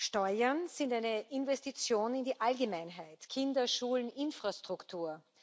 Steuern sind eine Investition in die Allgemeinheit Kinder, Schulen, Infrastruktur.